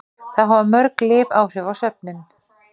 Þá hafa mörg lyf áhrif á svefninn.